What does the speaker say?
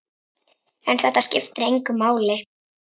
En þetta skiptir engu máli.